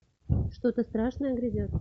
что то страшное грядет